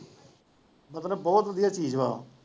ਮਤਲਬ ਬਹੁਤ ਵਧੀਆ ਚੀਜ਼ ਵਾ ਉਹ